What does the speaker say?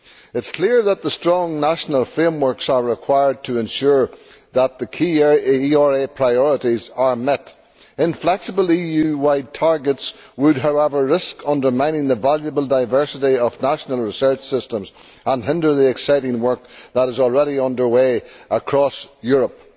It is clear that strong national frameworks are required to ensure that the key ERA priorities are met. Inflexible EU wide targets would, however, risk undermining the valuable diversity of national research systems and hinder the exciting work that is already under way across Europe.